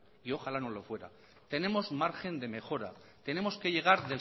y ojalá no lo fuera tenemos margen de mejora tenemos que llegar